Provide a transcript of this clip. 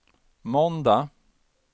måndag